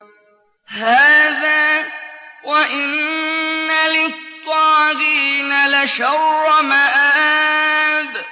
هَٰذَا ۚ وَإِنَّ لِلطَّاغِينَ لَشَرَّ مَآبٍ